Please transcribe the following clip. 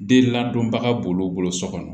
Den ladonbaga b'olu bolo so kɔnɔ